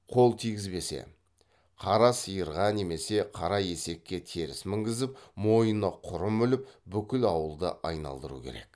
қара сиырға немесе қара есекке теріс мінгізіп мойнына құрым іліп бүкіл ауылды айналдыру керек